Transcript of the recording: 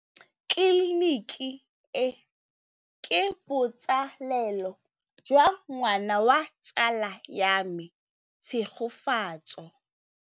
Tleliniki e, ke botsalêlô jwa ngwana wa tsala ya me Tshegofatso.